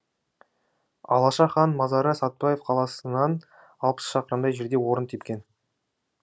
алаша хан мазары сәтбаев қаласынан алпыс шақырымдай жерде орын тепкен